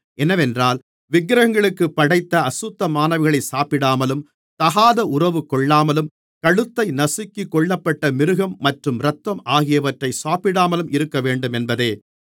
என்னவென்றால் விக்கிரகங்களுக்குப் படைத்த அசுத்தமானவைகளை சாப்பிடாமலும் தகாத உறவு கொள்ளாமலும் கழுத்தை நசுக்கிக் கொல்லப்பட்ட மிருகம் மற்றும் இரத்தம் ஆகியவற்றை சாப்பிடாமலும் இருக்கவேண்டுமென்பதே